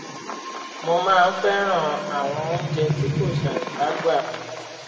mo máa ń fẹ́ràn àwọn oúnjẹ tí kò ṣàìbágbà mu